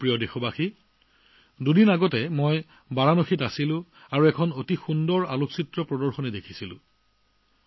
মোৰ প্ৰিয় দেশবাসী দুদিন আগতে মই বাৰাণসীত আছিলো আৰু তাত এখন অদ্ভুত চিত্ৰ প্ৰদৰ্শনী দেখিছিলো